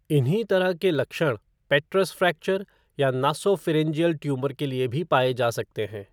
इन्हीं तरह के लक्षण पेट्रस फ़्रैक्चर या नासॉफ़िरिन्जियल ट्यूमर के लिए भी पाए जा सकते हैं।